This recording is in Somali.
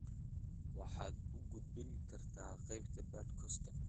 waxaad u gudbin kartaa qaybta podcast-ka